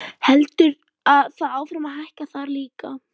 Heldur það áfram að hækka þar líka?